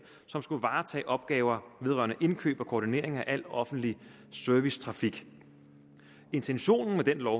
som skulle varetage opgaver vedrørende indkøb og koordinering af al offentlig servicetrafik intentionen med den lov